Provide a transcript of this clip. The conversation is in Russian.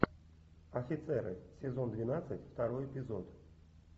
офицеры сезон двенадцать второй эпизод